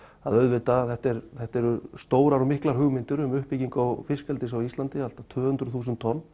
að að þetta eru þetta eru stórar og miklar hugmyndir um uppbyggingu fiskeldis á Íslandi allt að tvö hundruð þúsund tonn